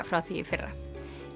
frá því í fyrra